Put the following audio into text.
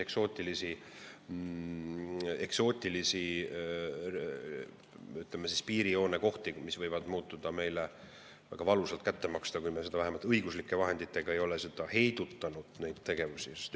Noh, ma ei hakka rääkimagi, Saatse, eks ole, ja need võivad meile väga valusalt kätte maksta, kui me vähemalt õiguslike vahenditega ei ole sääraseid tegevusi heidutanud.